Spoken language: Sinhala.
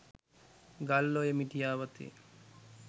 ගල්ඔය මිටියාවතේ